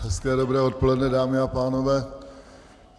Hezké dobré odpoledne, dámy a pánové.